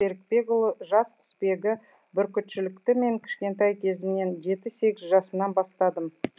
серікбекұлы жас құсбегі бүркітшілікті мен кішкентай кезімнен жеті сегіз жасымнан бастадым